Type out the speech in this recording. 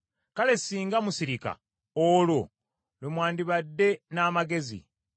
Kale singa musirika! Olwo lwe mwandibadde n’amagezi.